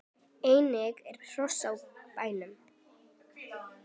Einnig eru hross á bænum.